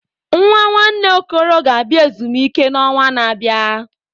Nwa nwanne Okoro ga-abịa ezumike n'ọnwa na-abịa.